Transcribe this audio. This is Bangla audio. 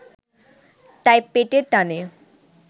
তাই পেটের টানে